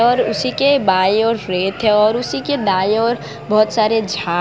और उसी के बाई ओर रेत है और उसके दाएं ओर बहोत सारे झाड़--